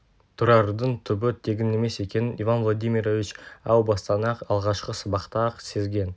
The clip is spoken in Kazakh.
тұрардың түбі тегін емес екенін иван владимирович әу бастан-ақ алғашқы сабақта-ақ сезген